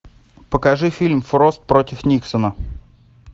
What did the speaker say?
покажи фильм фрост против никсона